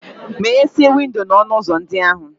Meghesịa windo na ọnụ ụzọ ndị ahụ!